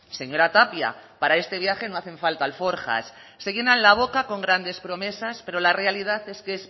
señora tapia para este viaje no hacen falta alforjas se llenan la boca con grandes promesas pero la realidad es que